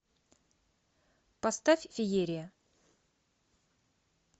поставь феерия